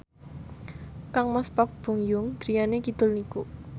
kangmas Park Bo Yung griyane kidul niku